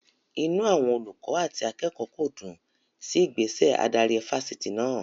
Inú àwọn olùkọ́ àti akẹ́kọ̀ọ́ kò dùn sí ìgbésẹ̀ adarí Fáṣítì náà.